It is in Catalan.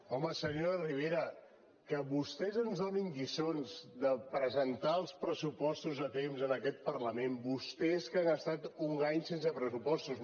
home senyora ribera que vostès ens donin lliçons de presentar els pressupostos a temps en aquest parlament vostès que han estat un any sense pressupostos